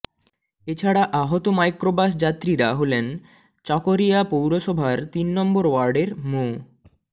এ ছাড়া আহত মাইক্রোবাস যাত্রীরা হলেন চকরিয়া পৌরসভার তিন নম্বর ওয়ার্ডের মো